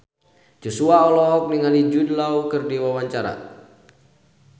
Joshua olohok ningali Jude Law keur diwawancara